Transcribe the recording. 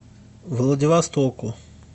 владивостоку